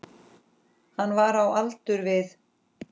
Hann var á aldur við